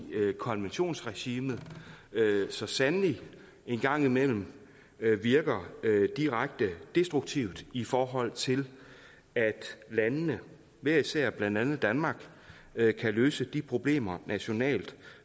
konventionsregimet så sandelig en gang imellem virker direkte destruktivt i forhold til at landene hver især blandt andet danmark kan løse de problemer nationalt